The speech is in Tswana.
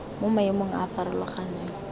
mo maemong a a farologaneng